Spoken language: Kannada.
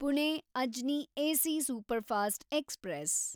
Pune Ajni AC superfast express